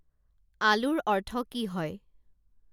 আলুৰ অৰ্থ কি হয়